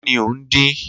Kini o n din?